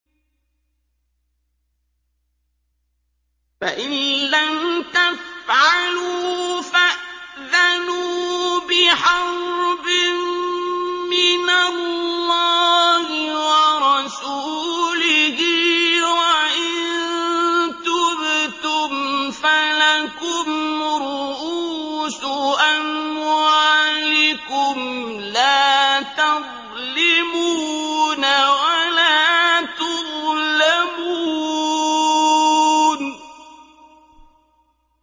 فَإِن لَّمْ تَفْعَلُوا فَأْذَنُوا بِحَرْبٍ مِّنَ اللَّهِ وَرَسُولِهِ ۖ وَإِن تُبْتُمْ فَلَكُمْ رُءُوسُ أَمْوَالِكُمْ لَا تَظْلِمُونَ وَلَا تُظْلَمُونَ